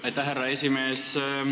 Aitäh, härra aseesimees!